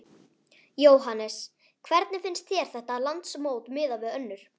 Jóhannes: Hvernig finnst þér þetta landsmót miðað við önnur?